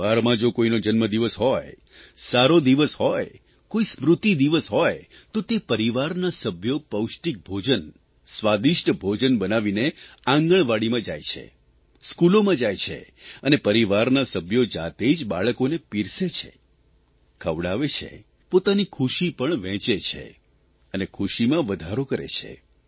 પરિવારમાં જો કોઇનો જન્મદિવસ હોય સારો દિવસ હોય કોઇ સ્મૃતિ દિવસ હોય તો તે પરિવારના સભ્યો પૌષ્ટિક ભોજન સ્વાદિષ્ટ ભોજન બનાવીને આંગણવાડીમાં જાય છે સ્કૂલોમાં જાય છે અને પરિવારના સભ્યો જાતે જ બાળકોને પીરસે છે ખવડાવે છે પોતાની ખુશી પણ વહેંચે છે અને ખુશીમાં વધારો કરે છે